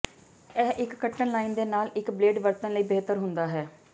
ਇਹ ਇੱਕ ਕੱਟਣ ਲਾਈਨ ਦੇ ਨਾਲ ਇੱਕ ਬਲੇਡ ਵਰਤਣ ਲਈ ਬਿਹਤਰ ਹੁੰਦਾ ਹੈ